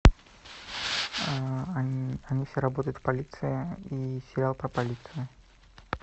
они все работают в полиции и сериал про полицию